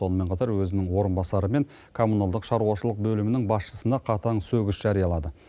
сонымен қатар өзінің орынбасары мен коммуналдық шаруашылық бөлімінің басшысына қатаң сөгіс жариялады